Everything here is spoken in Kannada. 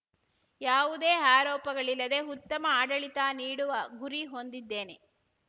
ಯಾವುದೇ ಆರೋಪಗಳಿಲ್ಲದೇ ಉತ್ತಮ ಆಡಳಿತ ನೀಡುವ ಗುರಿ ಹೊಂದಿದ್ದೇನೆ